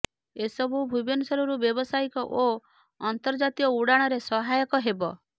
ଏସବୁ ଭୁବନେଶ୍ୱରରୁ ବ୍ୟବସାୟିକ ଓ ଅନ୍ତର୍ଜାତୀୟ ଉଡ଼ାଣରେ ସୟାହକ ହେବ